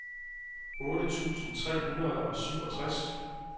otte tusind tre hundrede og syvogtres